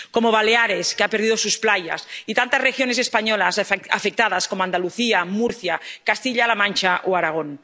o como Baleares, que ha perdido sus playas, y tantas regiones españolas afectadas, como Andalucía, Murcia, Castilla La Mancha o Aragón.